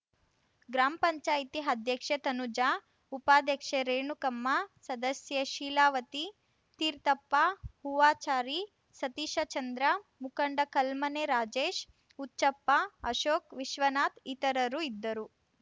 gram panchayat ಅಧ್ಯಕ್ಷೆ ತನುಜಾ ಉಪಾಧ್ಯಕ್ಷೆ ರೇಣುಕಮ್ಮ ಸದಸ್ಯೆ ಶೀಲಾವತಿ ತೀರ್ಥಪ್ಪ ಹೂವಾಚಾರಿ ಸತೀಶಚಂದ್ರ ಮುಖಂಡ ಕಲ್ಮನೆ ರಾಜೇಶ್‌ ಹುಚ್ಚಪ್ಪ ಅಶೋಕ್‌ ವಿಶ್ವನಾಥ್‌ ಇತರರು ಇದ್ದರು